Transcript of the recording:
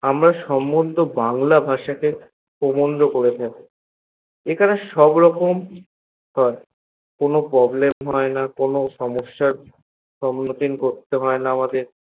আমরা সমন্ধে বাংলা ভাষা কে প্রবন্ধ করে থাকি এখানে সবরকম হয়ে কোনো প্রব্লেম হয়না কোনো সমসার সন্মুখীন করতে হয়না আমাদের